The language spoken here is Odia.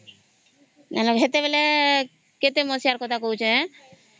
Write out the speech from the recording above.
ସେତେବେଳେ କେତେ ମସିହା ର କଥା କହୁଛି